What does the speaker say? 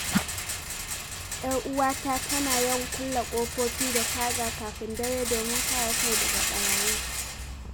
‘Yar uwata tana yawan kulle ƙofofi da taga kafin dare domin kare kai daga ɓarayi